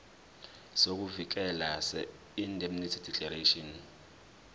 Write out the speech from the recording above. sokuvikeleka seindemnity declaration